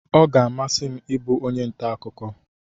Ọ ga amasi m ịbụ onye ntà akụkọ.